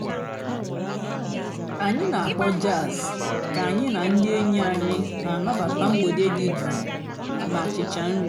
ányị́ nà-àkpọ́ jàzz kà ànyị́ nà ndị́ ènyí ànyị́ nà-ànàbátá m̀gbèdé dị́ jụ́ụ́ nà-àchichá nrí.